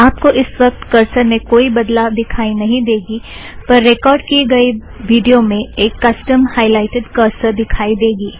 आप को इस वक्त करसर में कोई भी बदलाव दिखाई नहीं देगी पर रेकॉर्ड़ की गई विड़ियो में एक कसटम हायलाइटड़ करसर दिखाई देगी